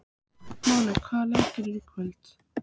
Máney, hvaða leikir eru í kvöld?